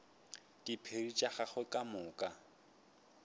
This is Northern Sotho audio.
diphiri tša gagwe ka moka